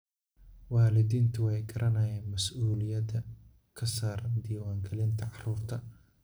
Waalidiintu way garanayaan mas'uuliyadda ka saaran diiwaangelinta carruurta.